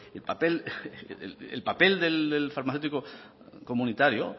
el papel el papel del farmacéutico comunitario